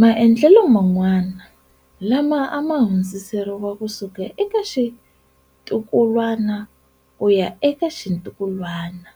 Maendlelo man'wana, lama a ma hundziseriwa kusuka eka xitukulwana ku ya eka xitukulwana,